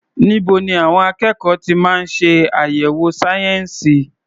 Níbo ni àwọn akẹ́kọ̀ọ́ ti máa ń ṣe àyẹ̀wò sayensi?